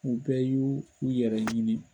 U bɛ y'u yɛrɛɲini.